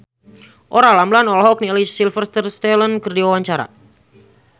Olla Ramlan olohok ningali Sylvester Stallone keur diwawancara